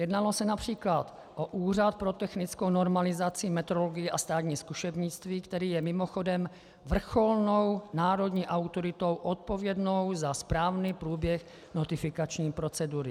Jednalo se například o Úřad pro technickou normalizaci, metrologii a státní zkušebnictví, který je mimochodem vrcholnou národní autoritou odpovědnou za správný průběh notifikační procedury. .